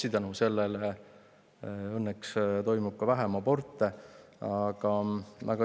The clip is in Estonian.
Ja selle õnneks toimub ka vähem aborte.